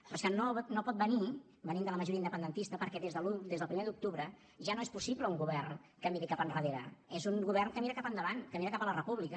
però és que no pot venir venint de la majoria independentista perquè des del primer d’octubre ja no és possible un govern que miri cap endarrere és un govern que mira cap endavant que mira cap a la república